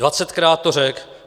Dvacetkrát to řekl.